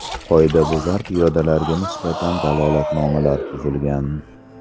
Qoidabuzar piyodalarga nisbatan dalolatnomalar tuzilgan.